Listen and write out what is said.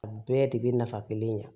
Bɛɛ de bɛ nafa kelen ɲa